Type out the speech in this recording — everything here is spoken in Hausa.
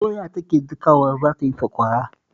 Doya take dakawa za ta yi sakwara